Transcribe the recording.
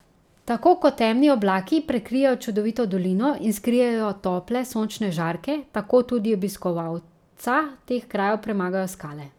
Tako kot temni oblaki prekrijejo čudovito dolino in skrijejo tople sončne žarke, tako tudi obiskovalca teh krajev premagajo skale.